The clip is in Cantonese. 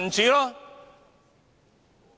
民主"。